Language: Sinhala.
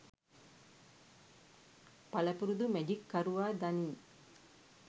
පළපුරුදු මැජික් කරුවා දනී